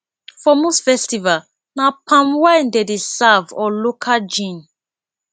for most festival na palm wine dem dey serve or local gin